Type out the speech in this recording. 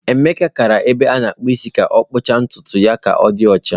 Emeka gara ebe a na-akpụ isi ka ọ kpụchaa ntutu ka Odi ochaa.